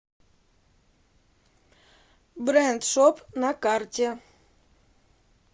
брэндшоп на карте